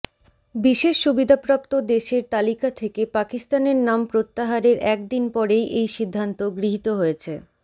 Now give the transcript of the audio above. বিশেষ সুবিধাপ্রাপ্ত দেশের তালিকা থেকে পাকিস্তানের নাম প্রত্যাহারের এক দিন পরেই এই সিদ্ধান্ত গৃহীত হয়েছে